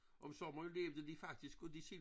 Om sommeren levede de faktisk af de sild